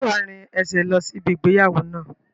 Ṣé wá rìn ẹsẹ̀ lọ sí ibi ìgbéyàwó náà?